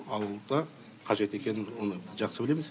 ауылда қажет екенін оны жақсы білеміз